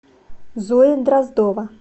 зоя дроздова